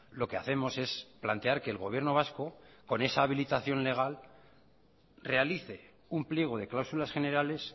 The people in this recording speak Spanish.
lo que hacemos es plantear que el gobierno vasco con esa habilitación legal realice un pliego de cláusulas generales